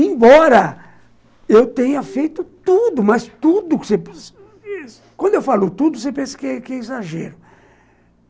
Embora eu tenha feito tudo, mas tudo... Quando eu falo tudo, você pensa que que é exagero.